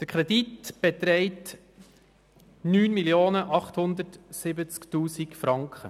Der Kredit beträgt 9 870 000 Franken.